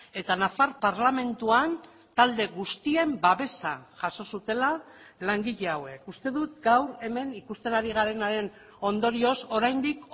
eta nafar parlamentuan talde guztien babesa jaso zutela langile hauek uste dut gaur hemen ikusten ari garenaren ondorioz oraindik